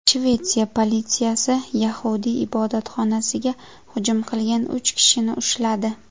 Shvetsiya politsiyasi yahudiy ibodatxonasiga hujum qilgan uch kishini ushladi.